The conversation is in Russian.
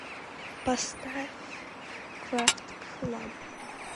поставь крафтклаб